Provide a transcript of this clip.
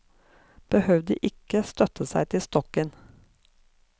Behøvde ikke støtte seg på stokken.